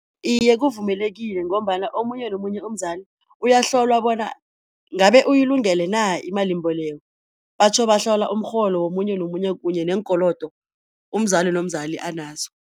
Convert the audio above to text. Iye kuvumelekile ngombana omunye nomunye umzali uyahlolwa bona ngabe uyilungelena imalimboleko, batjho bahlola umrholo womunye nomunye kanye neenkolodo umzali nomzali anazo.